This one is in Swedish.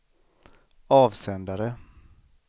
avsändare